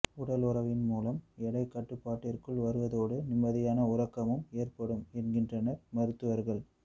உடல் உறவின் மூலம் எடை கட்டுப்பாட்டிற்குள் வருவதோடு நிம்மதியான உறக்கமும் ஏற்படும் என்கின்றனர் மருத்துவர்கள்